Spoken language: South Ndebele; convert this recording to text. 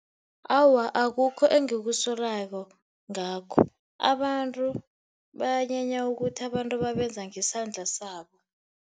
Awa, akukho engikusolako ngakho. Abantu banyenya ukuthi abantu babenza ngesandla sabo.